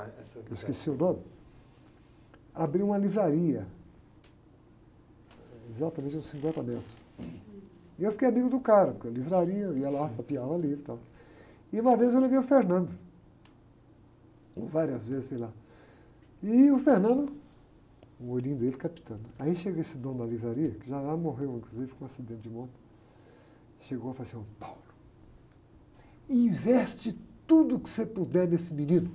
Eu esqueci o nome. Abriu uma livraria, exatamente, exatamente. E eu fiquei amigo do cara, porque é uma livraria, ia lá, sapiava livro e tal. E uma vez eu levei o, várias vezes, sei lá. E o, o olhinho dele captando, aí chega esse dono da livraria que já morreu, inclusive, com um acidente de moto.hegou e falou assim investe tudo que você puder nesse menino